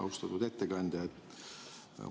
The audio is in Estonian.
Austatud ettekandja!